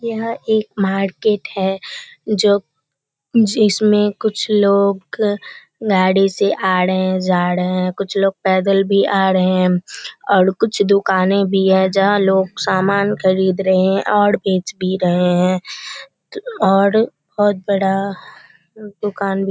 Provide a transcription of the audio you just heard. यह एक मार्केट है जो जिसमें कुछ लोग गाड़ी से आ रहें हैं जा रहें है। कुछ लोग पैदल भी आ रहें हैं और कुछ दुकानें भी है जहाँ लोग सामान खरीद रहें हैं और बेच भी रहें हैं और बहुत बड़ा दुकान --